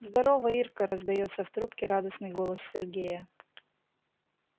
здорово ирка раздаётся в трубке радостной голос сергея